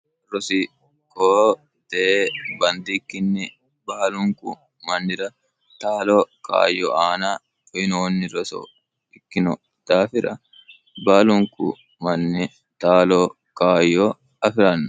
rosiqoo t bandikkinni baalunku mannira taalo kaayyo aana uyinoonni resoo ikkino daafira baalunku manni taalo kaayyo afi'ranno